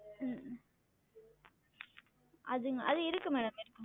அது அது இருக்கு madam இருக்கு madam